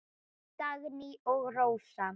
Dagný og Rósa.